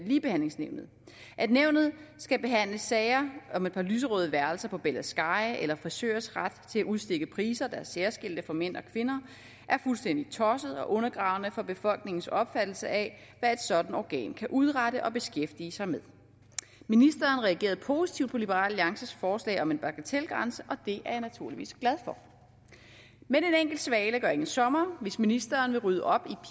ligebehandlingsnævnet at nævnet skal behandle sager om et par lyserøde værelser på bella sky eller frisørers ret til at udstikke priser der er særskilte for mænd og kvinder er fuldstændig tosset og undergravende for befolkningens opfattelse af hvad et sådant organ kan udrette og skal beskæftige sig med ministeren reagerede positivt på liberal alliances forslag om en bagatelgrænse og det er jeg naturligvis glad for men en enkelt svale gør ingen sommer hvis ministeren vil rydde op